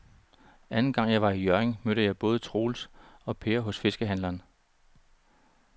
Anden gang jeg var i Hjørring, mødte jeg både Troels og Per hos fiskehandlerne.